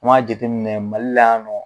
Kuma jateminɛ Mali la nɔ